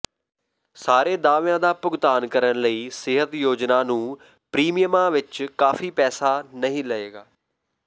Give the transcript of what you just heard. ਸਾਰੇ ਦਾਅਵਿਆਂ ਦਾ ਭੁਗਤਾਨ ਕਰਨ ਲਈ ਸਿਹਤ ਯੋਜਨਾ ਨੂੰ ਪ੍ਰੀਮੀਅਮਾਂ ਵਿੱਚ ਕਾਫ਼ੀ ਪੈਸਾ ਨਹੀਂ ਲਏਗਾ